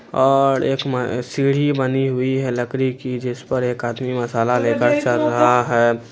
और एक म सीढ़ी बनी हुई है लकड़ी की जिसपर एक आदमी मसाला लेकर चढ़ रहा है।